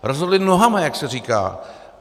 Rozhodli nohama, jak se říká.